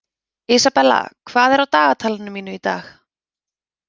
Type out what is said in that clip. Isabella, hvað er á dagatalinu mínu í dag?